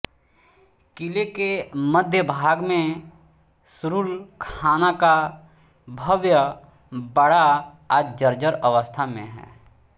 किले के मध्यभाग में सुरुलखाना का भव्य बाडा आज जर्जर अवस्था में है